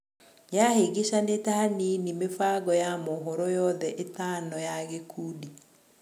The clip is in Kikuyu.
Yahĩngĩcanĩte hanini mĩbango ya mohoro yothe ĩtano ya gĩkundi.